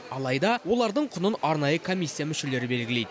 алайда олардың құнын арнайы комиссия мүшелері белгілейді